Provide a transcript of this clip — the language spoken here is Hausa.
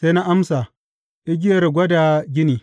Sai na amsa, Igiyar gwada gini.